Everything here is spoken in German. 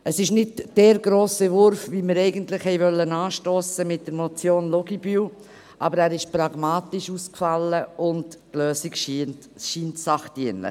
Es ist nicht der grosse Wurf, den wir eigentlich mit der Motion Luginbühl anstossen wollten, aber er ist pragmatisch ausgefallen, und die Lösung scheint sachdienlich.